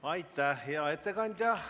Aitäh, hea ettekandja!